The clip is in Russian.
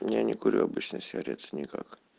я не курю обычные сигареты никак